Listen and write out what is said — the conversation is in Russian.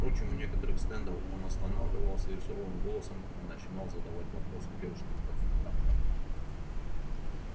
впрочем у некоторых стендов он останавливался и суровым голосом начинал задавать вопросы девушкам-консультанткам